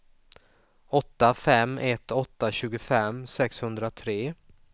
åtta fem ett åtta tjugofem sexhundratre